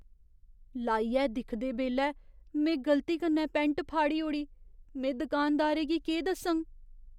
लाइयै दिखदे बेल्लै में गलती कन्नै पैंट फाड़ी ओड़ी। में दुकानदारै गी केह् दस्सङ?